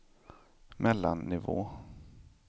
mellannivå